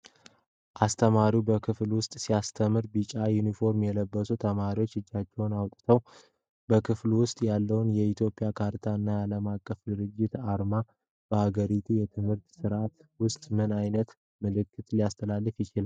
አስተማሪ በክፍል ውስጥ ሲያስተምሩ፤ በቢጫ ዩኒፎርም የለበሱ ተማሪዎች እጃቸውን አውጥተዋል። በክፍሉ ውስጥ ያለው የኢትዮጵያ ካርታ እና የዓለም አቀፍ ድርጅት አርማ በሀገሪቱ የትምህርት ሥርዓት ውስጥ ምን ዓይነት መልዕክት ሊያስተላልፍ ይችላል?